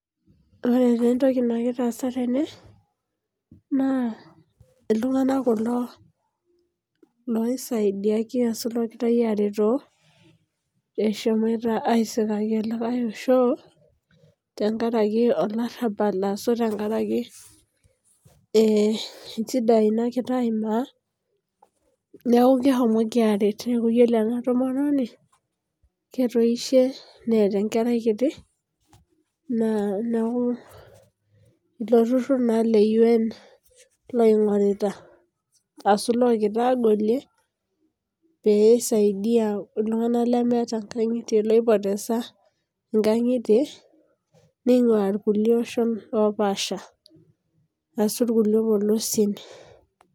Ore taa etoki nagira aasa tene naa. iltunganak kulo loisaidiaki aashu logirae are too eshomoito aisikaki olikae osho tenkaraki olarabal ashu tenkaraki eh injidai nagira aimaa neaku keshomoki aret. Neaku ore ena tomononi ketoishe neeta enkerai kiti naa, neaku ilo turur naa le UN loigorita ashu logira agolie, pee isaidia iltunganak lemeeata inkangitie, loipotesa inkangitie ningua irkulie oshon opaasha ashu, irkulie polosien.